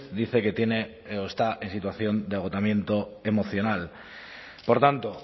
dice que tiene o está en situación de agotamiento emocional por tanto